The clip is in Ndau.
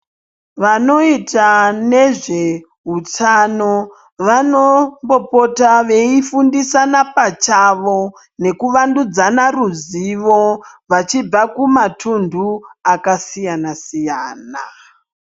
Vanoita nezveutano vanombopota veifundisana pachavo nekuvandudzana ruzivo vachibva kumatunhu akasiyana-siyana.